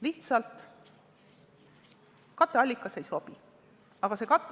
Lihtsalt: katteallikas ei sobi!